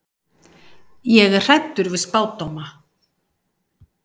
Ég er hræddur við spádóma.